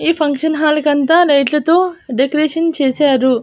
ఈ ఫంక్షన్ హాల్కాంత లైట్లతో డెకరేషన్ చేశారు.